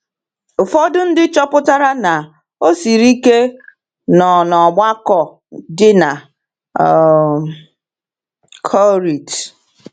Ụfọdụ ndị chọpụtara na ọ siri ike nọ n’ọgbakọ dị na um Korint.